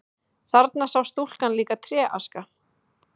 Þarna sá stúlkan líka tréaska.